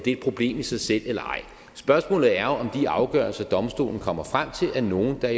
et problem i sig selv eller ej spørgsmålet er jo om de afgørelser domstolen kommer frem til er nogle der